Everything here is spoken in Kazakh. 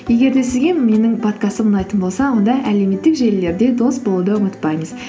егер де сізге менің подкастым ұнайтын болса онда әлеуметтік желілерде дос болуды ұмытпаңыз